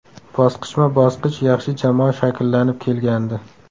Bosqichma-bosqich yaxshi jamoa shakllanib kelgandi.